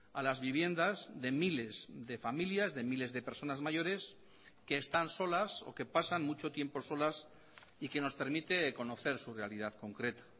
a las viviendas de miles de familias de miles de personas mayores que están solas o que pasan mucho tiempo solas y que nos permite conocer su realidad concreta